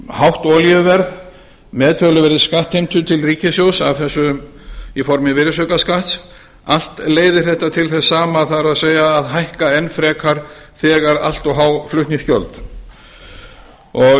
hátt olíuverð með töluverðri skattheimtu til ríkissjóðs af þessu í formi virðisaukaskatts allt leiðir þetta til þess sama það er að hækka enn frekar þegar allt of há flutningsgjöld ég vek athygli á því